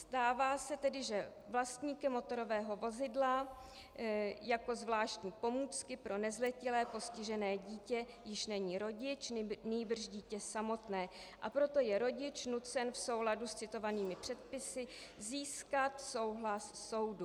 Stává se tedy, že vlastníkem motorového vozidla jako zvláštní pomůcky pro nezletilé postižené dítě již není rodič, nýbrž dítě samotné, a proto je rodič nucen v souladu s citovanými předpisy získat souhlas soudu.